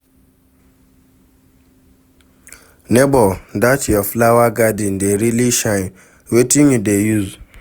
Nebor, dat your flower garden dey really shine, wetin you dey use?